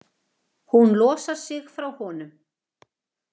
Hún losar sig frá honum.